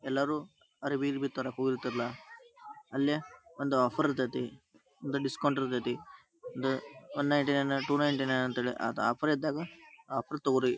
ಎಲ್ಲರು ಅರಬಿ ಗಿರಬಿ ತರಕ್ ಹೋಗಿರ್ತೀರಲ್ಲ ಅಲ್ಲೆ ಒಂದು ಆಫರ್ ಇರ್ತೈತಿ ಒಂದು ಡಿಸ್ಕೌಂಟ್ ಇರ್ತೈತಿ ಒಂದ one ninety nine to ninety nine ಅಂತ ಹೇಳಿ ಆಫರ್ ಇದ್ದಾಗ ಆಫರ್ ತೊಗೋರಿ .